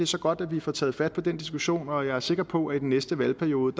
så godt at vi får taget fat på den diskussion og jeg er sikker på at i den næste valgperiode